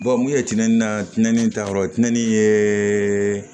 mun ye tɛni da tini ta yɔrɔ tiɲɛni ye